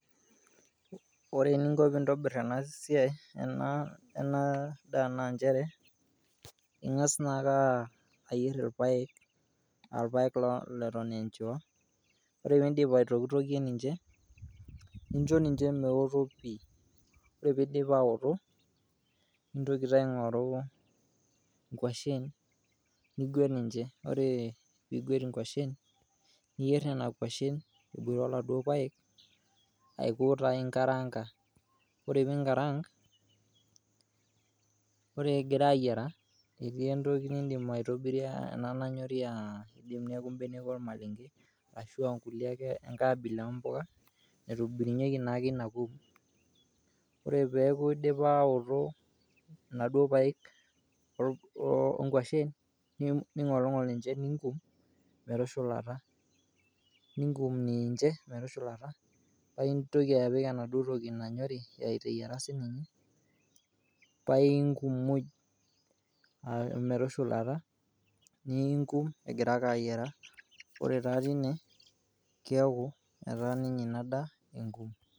Ore eninko piintobir ena siai ena daa naa njere, ing'as naake ayer irpaek a irpaek naa leton e enchiwa. Ore piindip aitokitokie ninje, ninjo ninje meoto pii, ore piidip aoto nintoki taa aing'oru nkwashen nigwet ninje, ore piigwet inkwashen, niyer nena kwashen eboita oladuo paek aiko taa inkaranka. Ore pii inkarank ore egira ayera, eti entoki nindim aitobirie ena nanyori aaji ashu mbenek ormalenge ashu ankulie ake enkae abila ake o mbuka naitobirunyieki taake ina kum. Ore peeku idipa aoto, inaduo paek o o nkwashen, ning'olng'ol ninje ning'um metushulata ning'um niinje metushulata, paae intoki apik enaduo toki nanyori eyiara sininye pae inkum muj, o metushulata ning'um egira ake ayara. Ore taa tine keeku ina daa enkum.